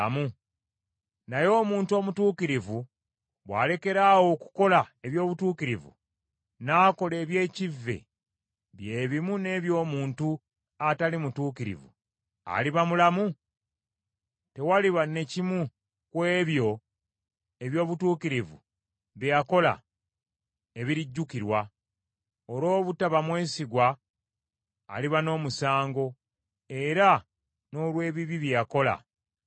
“Naye omuntu omutuukirivu bw’alekeraawo okukola eby’obutuukirivu, n’akola eby’ekivve bye bimu n’eby’omuntu atali mutuukirivu, aliba mulamu? Tewaliba ne kimu ku ebyo eby’obutuukirivu bye yakola, ebirijjukirwa: Olw’obutaba mwesigwa aliba n’omusango, era n’olw’ebibi bye yakola, alifa.